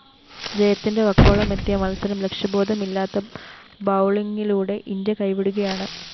ജയത്തിന്റെ വക്കോളമെത്തിയ മത്സരം ലക്ഷ്യബോധമില്ലാത്ത ബൗളിംഗിലൂടെ ഇന്ത്യ കൈവിടുകയാണ്‌